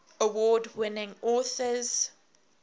award winning authors